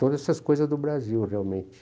Todas essas coisas do Brasil, realmente.